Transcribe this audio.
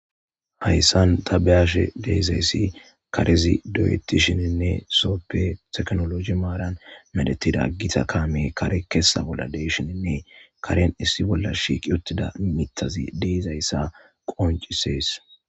hayssan tabeyashe deezayssi karezi do7etti shininne soppe teknolosi maaran medetida aggita kaame kare kessa bolla deshininne karen issi bolla shiiqi uttida mittazi deizayssa qoncisees